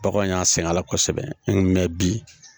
Bagan y'a sɛgɛn a la kosɛbɛ an mɛ bi